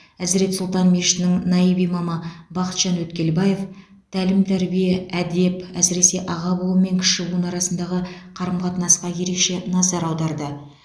әзірет сұлтан мешітінің наиб имамы бақытжан өткелбаев тәлім тәрбие әдеп әсіресе аға буын мен кіші буын арасындағы қарым қатынасқа ерекше назар аударды